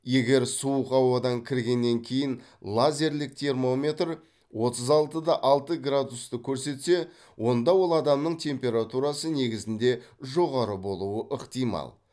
егер суық ауадан кіргеннен кейін лазерлік термометр отыз алты да алты градусты көрсетсе онда ол адамның температурасы негізінде жоғары болуы ықтимал